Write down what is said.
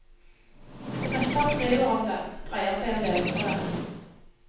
Det meste han skriver om dem, dreier seg om levebrødet.